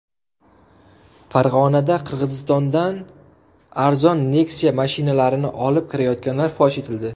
Farg‘onada Qirg‘izistondan arzon Nexia mashinalarini olib kirayotganlar fosh etildi.